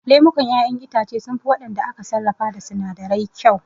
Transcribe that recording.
Lemukan ƴaƴen itace sunfi waɗanda aka sarrafa da sinadirai kyau